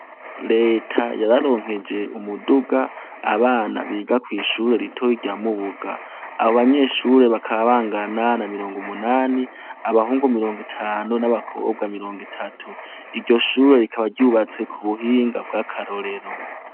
Reta yararonkeje umuduga abana biga kw'ishuri ritoyi rya Mubuga abo banyeshuri bakaba bangana na mirongo munani abahungu mirongo itanu n'abakobwa mirongo itatu iryo shuri rikaba ryubatse ku buhinga bw'akarorero.